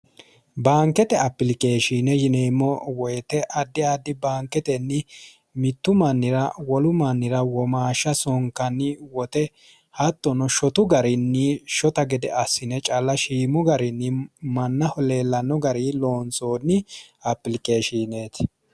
baankete applikeeshiine yineemo woyiite addi addi baanketenni mittu mannira wolu mannira womaashsha sonkanni wote hattono shotu garinni shota gede assine calla shiimu garinni mannaho leellanno garii loonsoonni applikeeshiineeti